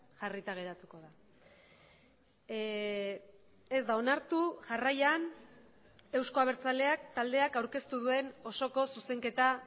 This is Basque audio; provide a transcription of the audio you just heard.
jarrita geratuko da ez da onartu jarraian euzko abertzaleak taldeak aurkeztu duen osoko zuzenketa